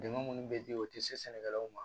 Dɛmɛ minnu bɛ di u tɛ se sɛnɛkɛlaw ma